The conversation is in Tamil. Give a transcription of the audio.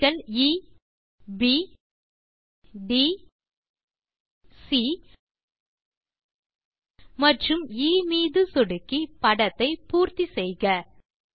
புள்ளிகள் எ ப் ட் சி மற்றும் எ மீது சொடுக்கி படத்தை பூர்த்தி செய்க